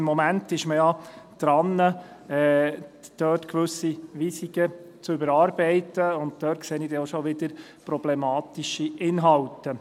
Im Moment ist man ja daran, dort gewisse Weisungen zu überarbeiten, und dort sehe ich dann auch schon wieder problematische Inhalte.